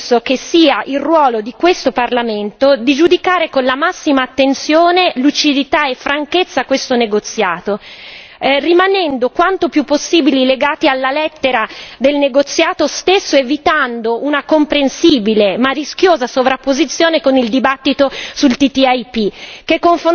In generale penso che sia il ruolo di questo Parlamento giudicare con la massima attenzione, lucidità e franchezza questo negoziato, rimanendo quanto più possibile legati alla lettera del negoziato stesso, evitando una comprensibile ma rischiosa sovrapposizione con il dibattito sul TTIP,